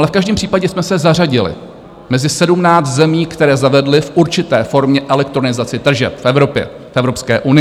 Ale v každém případě jsme se zařadili mezi 17 zemí, které zavedly v určité formě elektronizaci tržeb v Evropě, v Evropské unii.